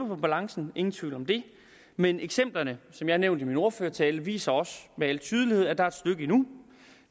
på balancen ingen tvivl om det men eksemplerne som jeg har nævnt i min ordførertale viser også med al tydelighed at der er et stykke endnu